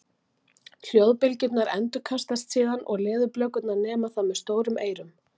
Hljóðbylgjurnar endurkastast síðan og leðurblökurnar nema það með stórum eyrum.